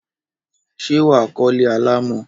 Ṣé wà á kọ́lé alámọ̀?